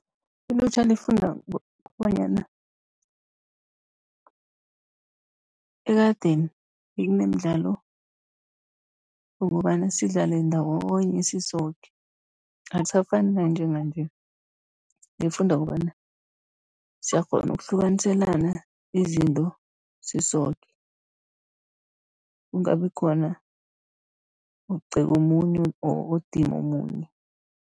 Ilutjha lifunda kobanyana ekadeni bekunemidlalo, yokobana sidlale ndawonye sisoke. Akusafani nanjenganje nifunda okobana siyakghona ukuhlukaniselana izinto sisoke, kungabi khona ogceka omunye odima omunye.